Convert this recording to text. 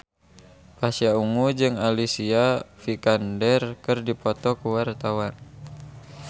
Pasha Ungu jeung Alicia Vikander keur dipoto ku wartawan